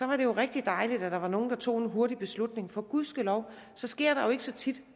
var det jo rigtig dejligt at der var nogle der tog en hurtig beslutning for gudskelov sker der jo ikke så tit